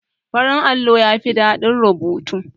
Farin allo yafi daɗin rubutu.